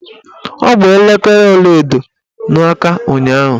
Ọ gba elekere ọlaedo n'aka ụnyaahụ.